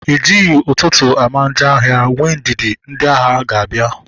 Ejighị ụtụtụ ama njọ ahịa, nwee ndidi na ndị ahịa ga-abịa